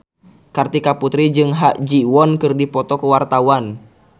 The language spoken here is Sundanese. Kartika Putri jeung Ha Ji Won keur dipoto ku wartawan